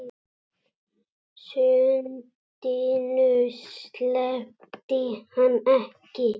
Sundinu sleppti hann ekki.